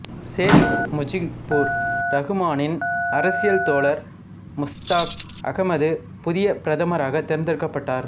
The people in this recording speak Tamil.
சேக் முஜிபுர் ரகுமானின் அரசியல் தோழர் முஸ்தாக் அகமது புதிய பிரதமராக தேர்ந்தெடுக்கப்பட்டார்